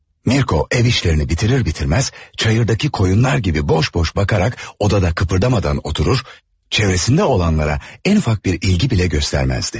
Mirko ev işlerini bitirir bitirmez çayırdaki koyunlar gibi boş boş bakarak odada kıpırdamadan oturur, çevresinde olanlara en ufak bir ilgi bile göstermezdi.